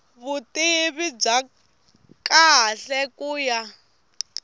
vutivi bya kahle ku ya